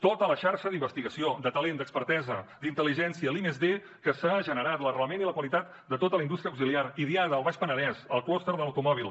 tota la xarxa d’investigació de talent d’expertesa d’intel·ligència l’i+d que s’ha generat l’arrelament i la qualitat de tota la indústria auxiliar idiada al baix penedès el clúster de l’automòbil